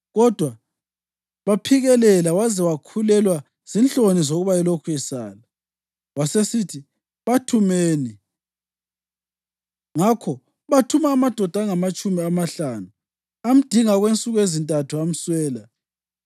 Kodwa baphikelela waze wakhulelwa zinhloni zokuba elokhu esala. Wasesithi, “Bathumeni.” Ngakho bathuma amadoda angamatshumi amahlanu, amdinga okwensuku ezintathu amswela.